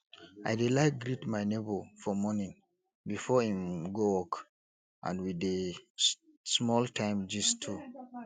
i dey like greet my nebo for morning before im go work and we dey small time gist too